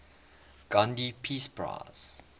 gandhi peace prize